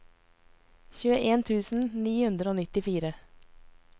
tjueen tusen ni hundre og nittifire